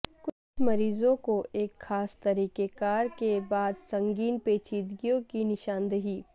کچھ مریضوں کو ایک خاص طریقہ کار کے بعد سنگین پیچیدگیوں کی نشاندہی